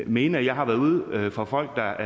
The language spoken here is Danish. mene at jeg har været ude for folk der